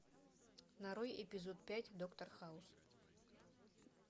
нарой эпизод пять доктор хаус